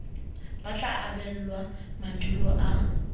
ba tla abelwa maduo a